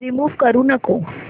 remove करू नको